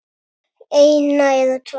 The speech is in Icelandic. eina eða tvær.